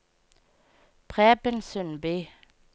Preben Sundby